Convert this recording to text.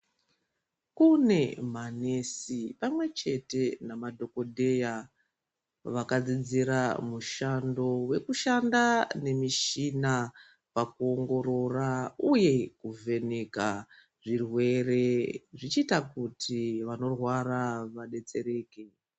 Kune manesi pamwechete nemadhokotera vakadzidzira mushando wekushanda nemichina pakuongorora uye kuvheneka zvirwere zvichiita kuti vanorwara vabetsereke .